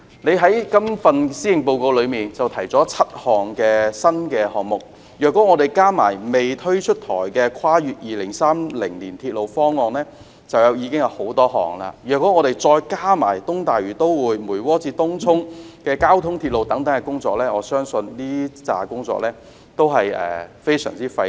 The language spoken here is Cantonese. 特首在今年施政報告中提出了7個新項目，如果加上未出台的跨越2030年鐵路方案，就已經有很多項；若再加上東大嶼都會，梅窩至東涌的交通鐵路等工程，我相信這批工作都是非常費力。